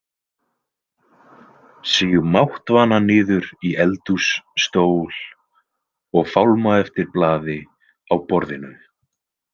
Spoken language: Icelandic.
Síg máttvana niður í eldhússtól og fálma eftir blaði á borðinu.